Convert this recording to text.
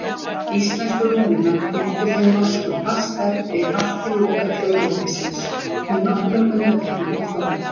Íslensku rúnirnar fylgdu þeim norsku fast eftir allt til loka þjóðveldisins með nokkrum undantekningum þó.